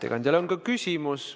Ettekandjale on ka küsimus.